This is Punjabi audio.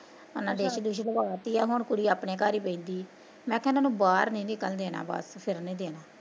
ਹੁਣ ਡਿਸ਼ ਦੁਸ਼ ਲਵਾਤੀ ਆ ਹੁਣ ਕੁੜੀ ਆਪਣੇ ਘਰ ਈ ਬੈਨਦੀ ਮੈਂ ਕਿਹਾਂ ਇਹਨਾਂ ਨੂੰ ਬਾਹਰ ਨੀ ਨਿਕਲਣ ਦੇਣਾ ਬਸ, ਫਿਰਨ ਨੀ ਦੇਣਾ